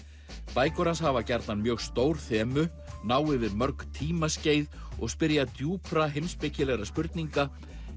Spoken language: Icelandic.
bækur hans hafa gjarnan mjög stór þemu ná yfir mörg tímaskeið og spyrja djúpra heimspekilegra spurninga